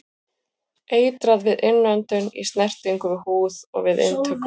Eitrað við innöndun, í snertingu við húð og við inntöku.